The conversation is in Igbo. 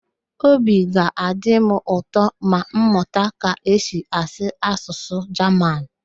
Obi ga-adị m ụtọ ma m mụta ka esi asụ Asụsụ Jaman